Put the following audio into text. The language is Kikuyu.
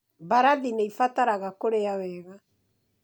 Mbarathi nĩ ibataraga kũrĩa wega